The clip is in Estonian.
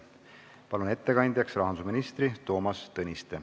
Palun ettekandjaks rahandusminister Toomas Tõniste.